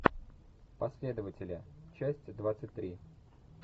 последователи часть двадцать три